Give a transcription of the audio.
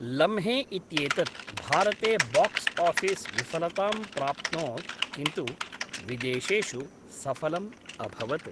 लम्हे इत्येतत् भारते बाक्स् आफिस् विफलतां प्राप्नोत् किन्तु विदेशेषु सफलम् अभवत्।